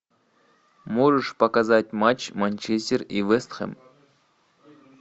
можешь показать матч манчестер и вест хэм